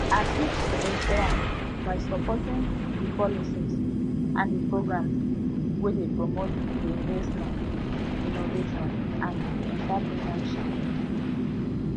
i fit ensure am by supporting di policies and di programs wey dey promote di investment innovation and enterpreneurship